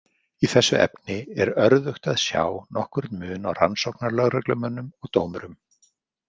Í þessu efni er örðugt að sjá nokkurn mun á rannsóknarlögreglumönnum og dómurum.